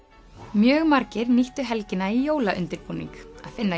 mjög margir nýttu helgina í jólaundirbúning að finna